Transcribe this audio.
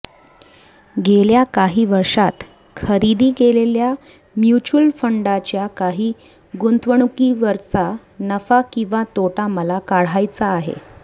गेल्या काही वर्षांत खरेदी केलेल्या म्युच्युअल फंडांच्या काही गुंतवणुकीवरचा नफा किंवा तोटा मला काढायचा आहे